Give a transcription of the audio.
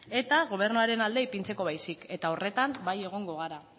eta gobernuaren alde ipintzeko baizik eta horretan bai egongo gara